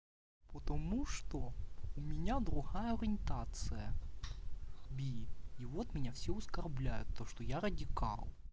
потому что у меня другая ориентация би и вот меня все оскорбляют то что я радикал